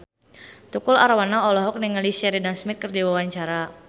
Tukul Arwana olohok ningali Sheridan Smith keur diwawancara